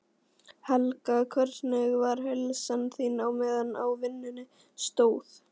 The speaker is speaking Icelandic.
Helga: Hvernig var heilsan þín á meðan á vinnunni stóð?